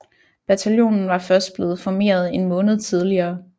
Bataljonen var først blevet formeret en måned tidligere